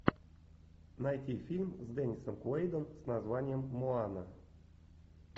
найти фильм с деннисом куэйдом с названием моана